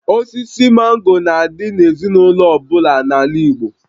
Osisi mango na-adị n'ezinaụlọ ọ bụla n'ala Igbo